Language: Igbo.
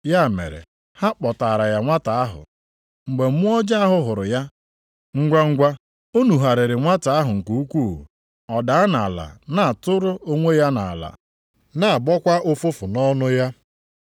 Ya mere, ha kpọtaara ya nwata ahụ. Mgbe mmụọ ọjọọ ahụ hụrụ ya, ngwangwa, o nugharịrị nwata ahụ nke ukwuu, ọ daa nʼala na-atụrụ onwe ya nʼala, na-agbọkwa ụfụfụ nʼọnụ ya.